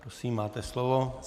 Prosím, máte slovo.